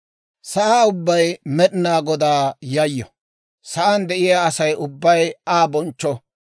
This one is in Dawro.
Sa'aa ubbay Med'inaa Godaa yayyo; sa'aan de'iyaa Asay ubbay Aa bonchcho.